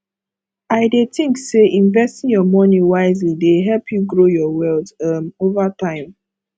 i dey think say investing your money wisely dey help you grow your wealth um over time